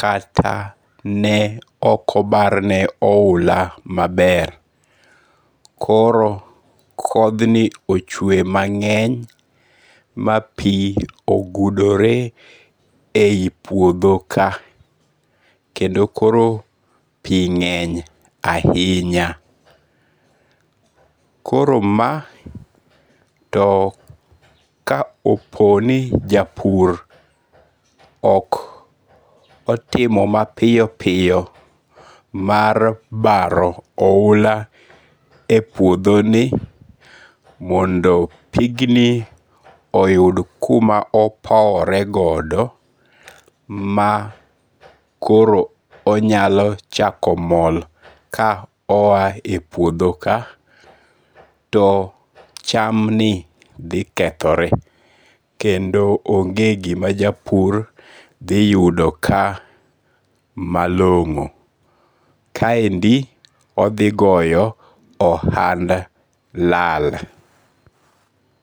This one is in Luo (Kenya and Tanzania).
kata ne ok obarne ahula maber, koro kothni ochwe mange'ny ma pi ogudore e ipuothoka kendo koro pi nge'ny ahinya, koro ma too kaopono ni ja pur ok otimo mapiyo piyo mar baro ohula e puothoni mondo pigni oyud kuma opoworegodo ma koro onyalo chako mol ka oya e puotho ka to chamni thikethore kendo onge' gima japur thiyudo ka malongo' kaendi othigoyo ohand lal.